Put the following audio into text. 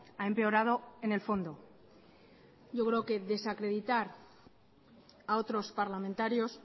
ha empeorado en el fondo yo creo que desacreditar a otros parlamentarios